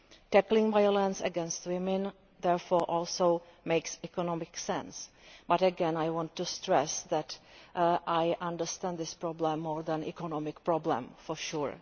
Tackling violence against women therefore makes economic sense too, but again I want to stress that I understand this problem as more than an economic problem, for sure.